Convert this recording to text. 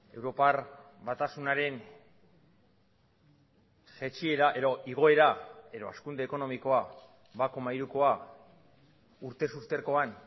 europar batasunaren jaitsiera edo igoera edo hazkunde ekonomikoa bat koma hirukoa urtez urtekoan